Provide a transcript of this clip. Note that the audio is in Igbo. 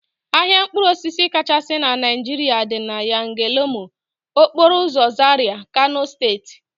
Ahịa mkpụrụosisi kachasị na Naijiria dị na Yanlemo, okporoụzọ Zaria, Kano steeti